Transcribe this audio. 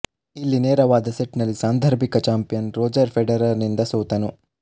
ಇಲ್ಲಿ ನೇರವಾದ ಸೆಟ್ ನಲ್ಲಿ ಸಾಂದರ್ಭಿಕ ಚಾಂಪಿಯನ್ ರೋಜರ್ ಫೆಡರರ್ ನಿಂದ ಸೋತನು